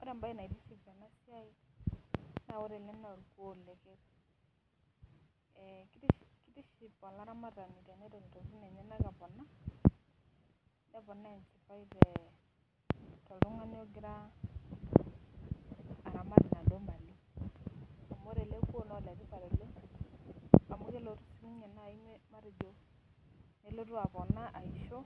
Ore embaye naitiship tena siai naa ore ele naa olkuoo lekerr. Eh keitiship olaramatani tenedol intokitin enyenak epona, neponaa enchipai tee toltung'ani ogira aramat inaduo  mali. Amu ore ele kuoo naaore tipat oleng' amu kelotu nai siinye matejo nelotu apona aisho